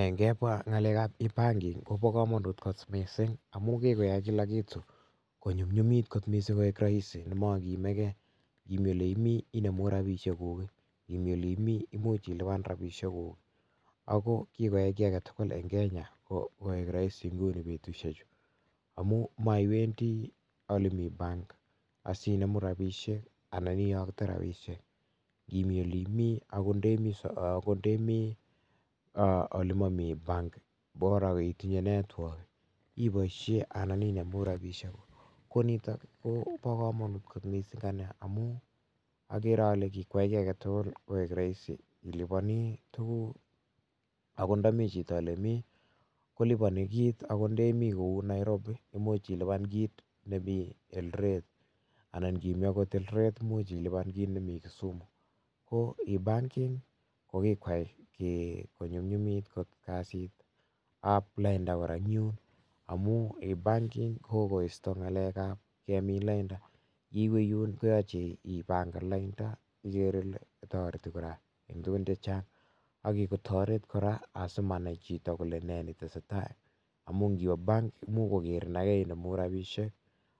Ingemwa ng'alekab e-banking koboo komonut kot missing, amun kikoyai kilakitu konyumnyumit kot missing koik roisi nemokiimegei, imi ole imi inemu rabisiekuk, imi oleimi imuch ilipan rabisiekuk, ako kikoyai kiagetugul en Kenya koik roosi inguni betusiechu. Amun moiwendi olemi benkit asinemu rabisiek anan itoktee rabisiek, inimi ole mii, okot ndomomi benkit boraa itinye network ibooishien inemu rabisiekuk. Ko nitok komo komonut kot missing, amun agere ale kikoyaii kit agetugul koik Roisin iliponi tuguuk akot ndomi chito olemii koliponi kit akot ndeimii kou Nairobi. Imuch ilipan kit nemi Elderly anan inimii okot Elderet koimuch ilipan kit nemi Kisumu, ko e-banking kikwai konyumnyumit kot kasiit ab lainda ngamun e-banking kokoisto ng'alekab kemin lainda, ndiwe benkit kolasima ipangan lainda, kigere kele kikotoret kora asimanai chito kole netesetai amun iniwe benkit komuch kogerii Ake icheru rabisiek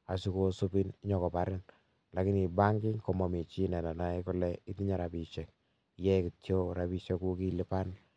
asikosibin Ake inyonkobiriin ,lakini en e-banking komonoe chi kole itinye rabisiek, iwendi kityok rabisiek ak ilipan.